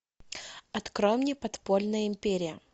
открой мне подпольная империя